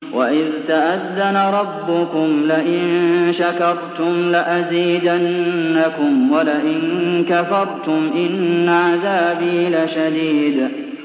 وَإِذْ تَأَذَّنَ رَبُّكُمْ لَئِن شَكَرْتُمْ لَأَزِيدَنَّكُمْ ۖ وَلَئِن كَفَرْتُمْ إِنَّ عَذَابِي لَشَدِيدٌ